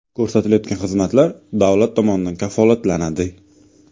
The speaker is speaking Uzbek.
Ko‘rsatilayotgan xizmatlar davlat tomonidan kafolatlanadi.